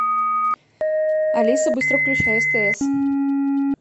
алиса быстро включай стс